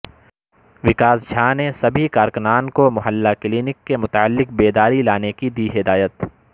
وکاس جھا نے سبھی کارکنان کو محلہ کلینک کے متعلق بیداری لانے کی دی ہدایت